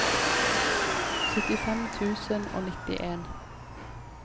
syttifem tusen og nittien